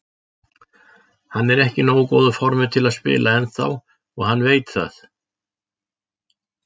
Hann er ekki í nógu góðu formi til að spila ennþá og hann veit það.